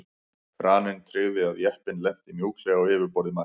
Kraninn tryggði að jeppinn lenti mjúklega á yfirborði Mars.